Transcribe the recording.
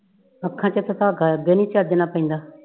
ਅੱਖਾਂ ਚ ਤਾ ਧਾਗਾ ਅੱਗੇ ਹੀ ਚੱਜ ਨਾਲ ਨਹੀਂ ਪੈਂਦਾ।